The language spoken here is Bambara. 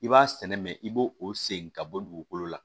I b'a sɛnɛ mɛ i b'o o sen ka bɔ dugukolo la